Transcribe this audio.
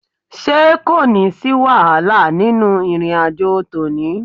Ṣé kò ní sí wàhálà nínú ìrìn àjò tòní?